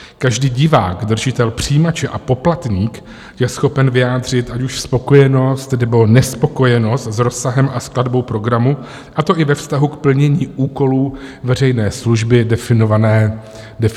Každý divák, držitel přijímače a poplatník je schopen vyjádřit ať už spokojenost, nebo nespokojenost s rozsahem a skladbou programu, a to i ve vztahu k plnění úkolů veřejné služby definované zákonem.